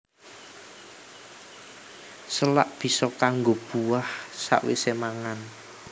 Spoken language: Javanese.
Salak bisa kanggo buah sawisé mangan